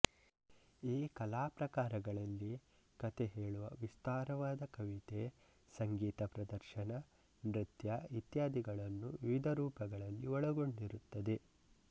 ಈ ಕಲಾ ಪ್ರಕಾರಗಳಲ್ಲಿ ಕಥೆಹೇಳುವ ವಿಸ್ತಾರವಾದ ಕವಿತೆ ಸಂಗೀತ ಪ್ರದರ್ಶನ ನೃತ್ಯ ಇತ್ಯಾದಿಗಳನ್ನು ವಿವಿಧ ರೂಪಗಳಲ್ಲಿ ಒಳಗೊಂಡಿರುತ್ತದೆ